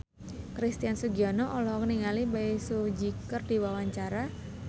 Christian Sugiono olohok ningali Bae Su Ji keur diwawancara